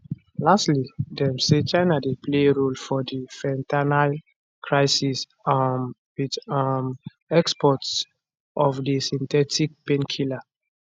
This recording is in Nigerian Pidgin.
lastly dem say china dey play central role for di fentanyl crisis um wit um exports of di synthetic painkiller